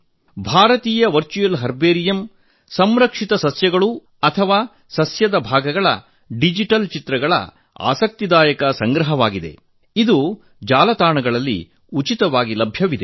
ಭಾರತೀಯ virtual herbarium ಸಂರಕ್ಷಿತ ಸಸ್ಯಗಳು ಅಥವಾ ಸಸ್ಯದ ಭಾಗಗಳ ಡಿಜಿಟಲ್ ಚಿತ್ರಗಳ ಆಸಕ್ತಿದಾಯಕ ಸಂಗ್ರಹವಾಗಿದೆ ಇದು ಜಾಲತಾಣದಲ್ಲಿ ಉಚಿತವಾಗಿ ಲಭ್ಯವಿದೆ